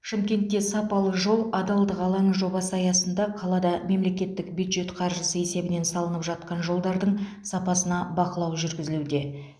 шымкентте сапалы жол адалдық алаңы жобасы аясында қалада мемлекеттік бюджет қаржысы есебінен салынып жатқан жолдардың сапасына бақылау жүргізілуде